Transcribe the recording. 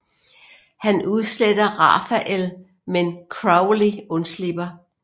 Han udsletter Raphael men Crowley undslipper